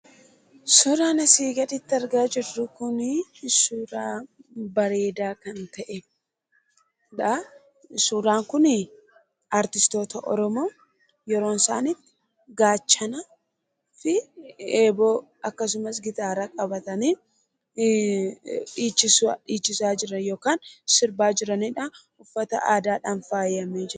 Suuraan asiin gaditti argaa jirru kun, suuraa bareedaa kan ta'edha. Suuraan Kun artistoota Oromoo yeroo isaan itti gaachana fi eeboo akkasumas gitaara qabatanii dhiichisaa jiran yookaan sirbaa jiranidha. Uffata aadaadhaan faayamanii jiru.